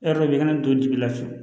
E yɛrɛ de bɛ kana don ji la fiyewu